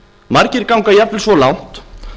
margir ganga jafnvel svo langt